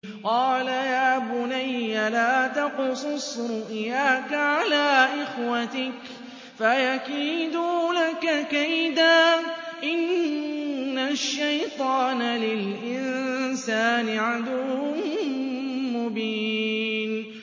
قَالَ يَا بُنَيَّ لَا تَقْصُصْ رُؤْيَاكَ عَلَىٰ إِخْوَتِكَ فَيَكِيدُوا لَكَ كَيْدًا ۖ إِنَّ الشَّيْطَانَ لِلْإِنسَانِ عَدُوٌّ مُّبِينٌ